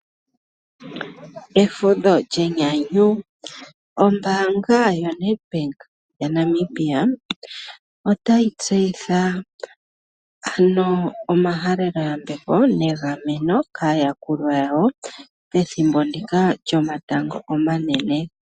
Efudho lyenyanyu. Ombaanga yaNEDBANK yaNamibia otayi gandja omahaleloyambeko nokuhalela aayakulwa yawo egameno pethimbo ndika lyomatango omanene.